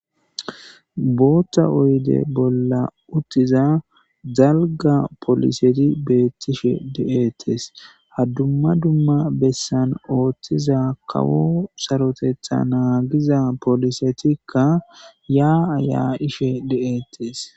bootta oyde bolla uttiza dalga poliseti beettishe de7ettes haddumma dumma bessan ooththiza kawo sarotetha naagiza polisetikka yaa ayaa ishe de7ettes